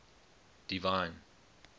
divine